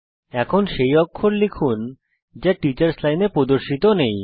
এখন সেই অক্ষর লিখুন যা টিচার্স লাইনে প্রদর্শিত নেই